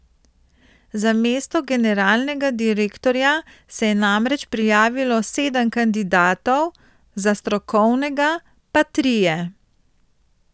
Za mesto generalnega direktorja se je namreč prijavilo sedem kandidatov, za strokovnega pa trije.